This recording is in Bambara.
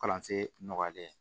Kalansen nɔgɔyalen